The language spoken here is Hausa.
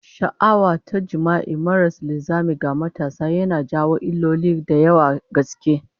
Sha'awa ta jima'i maras linzami ga matasa yana jawo illoli da yawan gaske